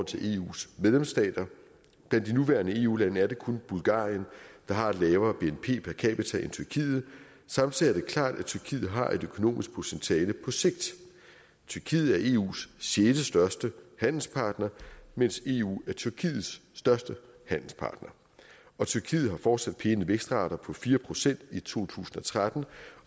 til eus medlemsstater blandt de nuværende eu lande er det kun bulgarien der har et lavere bnp per capita end tyrkiet samtidig er det klart at tyrkiet har et økonomisk potentiale på sigt tyrkiet er eus sjettestørste handelspartner mens eu er tyrkiets største handelspartner og tyrkiet har fortsat pæne vækstrater på fire procent i to tusind og tretten